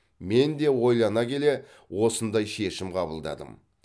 мен де ойлана келе осындай шешім қабылдадым